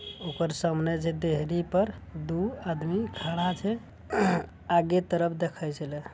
ओकर सामने जे देहरी पर दू आदमी खड़ा छै आगे तरफ देखय छलेह ।